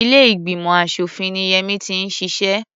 Ilé ìgbìmọ̀ aṣòfin ni Yẹmí ti ń ṣiṣẹ́.